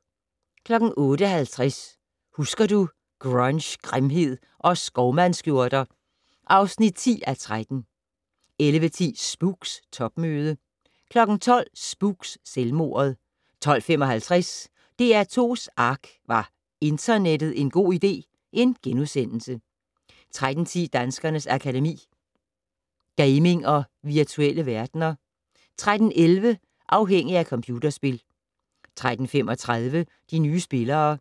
08:50: Husker du - Grunge, grimhed og skovmandsskjorter (10:13) 11:10: Spooks: Topmøde 12:00: Spooks: Selvmordet 12:55: DR2's ARK - Var internettet en god idé? * 13:10: Danskernes Akademi: Gaming og virtuelle verdener 13:11: Afhængig af computerspil 13:35: De nye spillere